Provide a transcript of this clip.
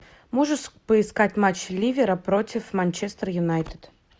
можешь поискать матч ливера против манчестер юнайтед